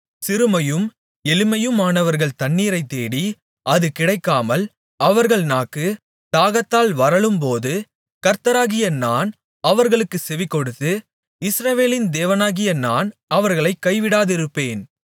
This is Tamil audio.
சிறுமையும் எளிமையுமானவர்கள் தண்ணீரைத் தேடி அது கிடைக்காமல் அவர்கள் நாக்கு தாகத்தால் வறளும்போது கர்த்தராகிய நான் அவர்களுக்குச் செவிகொடுத்து இஸ்ரவேலின் தேவனாகிய நான் அவர்களைக் கைவிடாதிருப்பேன்